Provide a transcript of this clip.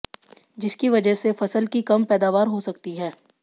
जिसकी वजह से फसल की कम पैदावार हो सकती है